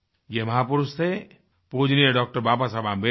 ये महापुरुष थे पूजनीय डॉ बाबा साहेब अम्बेडकर